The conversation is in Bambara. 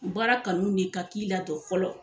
Baara kanu de ka k'i la tɔ fɔlɔ